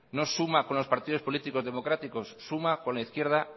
no suma con los partidos políticos democráticos suma con la izquierda